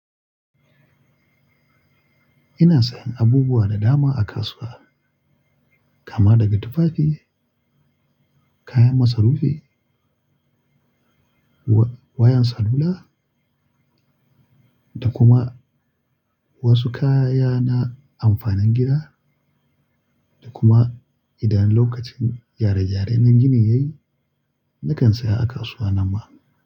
Ina sayan abubuwa da dama a kasuwa, kama daga tufafi, kayan masarufi, wa-wayan salula da kuma wasu kaya na amfanin gida da kuma idan lokacin gyare-gyare na gini yayi, nakan saya a kasuwa na ma.